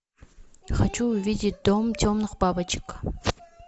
хочу увидеть дом темных бабочек